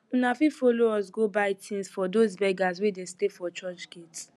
una fit follow us go buy tins for dose beggers wey de stay for church gate